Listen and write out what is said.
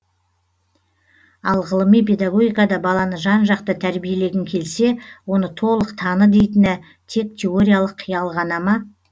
ал ғылыми педагогикада баланы жан жақты тәрбиелегің келсе оны толық таны дейтіні тек теориялық қиял ғана ма